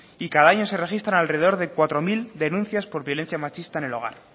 y cada año se registran alrededor de cuatro mil denuncias por violencia machista en el hogar